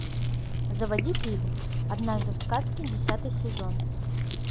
заводи фильм однажды в сказке десятый сезон